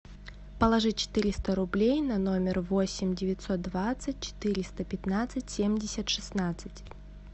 положи четыреста рублей на номер восемь девятьсот двадцать четыреста пятнадцать семьдесят шестнадцать